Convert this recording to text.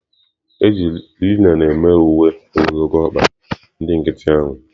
E ji linen mee uwe ogologo ọkpa ndị ahụ nkịtị.